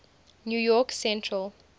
new york central